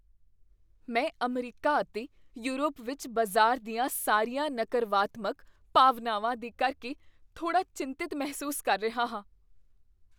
ਮੈਂ ਅਮਰੀਕਾ ਅਤੇ ਯੂਰਪ ਵਿੱਚ ਬਾਜ਼ਾਰ ਦੀਆਂ ਸਾਰੀਆਂ ਨਕਰਵਾਤਮਕ ਭਾਵਨਾਵਾਂ ਦੇ ਕਰਕੇ ਥੋੜ੍ਹਾ ਚਿੰਤਿਤ ਮਹਿਸੂਸ ਕਰ ਰਿਹਾ ਹਾਂ।